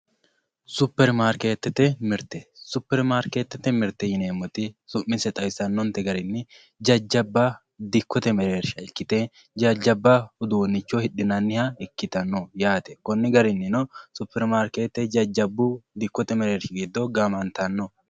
Super maariketete mirite, superi mariketete mirite yineemoti su'mise xawisano'nte garini jajaba dikkote mereerisha ikkite jajaba uduunicho hidhinanniha ikkitanno yaate koni garinino superi maarikete jajabu dikote mereerishi gido gamantanno